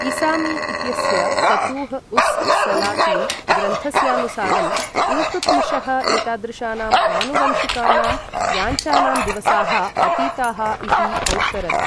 इसामी इत्यस्य ऴुतूह् उस् सलातिन् ग्रन्थस्यानुसारं इल्तुत्मिशः एतादृशानां आनुवंशिकानां याच्ञानां दिवसाः अतीताः इति औत्तरत्।